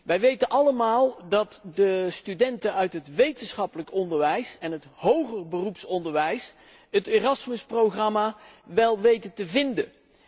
Wij weten allemaal dat de studenten uit het wetenschappelijk onderwijs en het hoger beroepsonderwijs het Erasmus programma wel weten te vinden.